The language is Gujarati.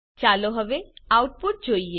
ચાલો હવે આઉટપુટ જોઈએ